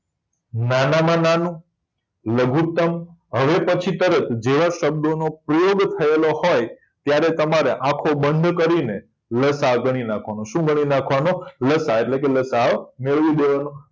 નાનામાં નાનું લઘુત્તમ હવે પછી તરત જેવા શબ્દોનો પ્રયોગ થયેલો હોય ત્યારે તમારે આંખો બંધ કરીને નાખવાનો છે શું ગણી નાખવાનો લસાઅ એટલે કે લસાઅ મેળવી દેવાનો